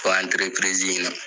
Po in na